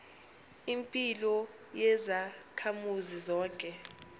impilo yezakhamuzi zonke